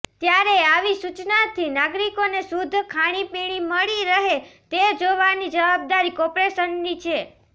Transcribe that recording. ત્યારે આવી સૂચનાથી નાગરિકોને શુધ્ધ ખાણીપીણી મળી રહે તે જોવાની જવાબદારી કોર્પોરેશનની છે